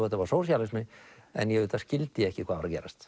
þetta var sósíalismi en ég skildi ekki hvað var að gerast